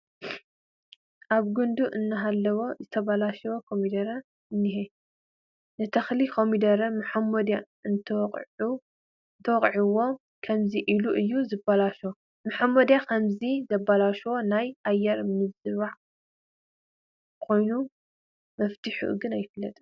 ኣብ ግንዱ እናሃለወ ዝተበላሸወ ኮሚደረ እኒሀ፡፡ ንተኽሊ ኮሚደረ መሖሞድያ እንተወቂዑዎ ከምዚ ኢሉ እዩ ዝበላሾ፡፡ መሖሞዲያ ከምዚ ዘበላሹ ናይ ኣየር ምምራዝ ኮይኑ መፍትሒኡ ግን ኣይፍለጥን፡፡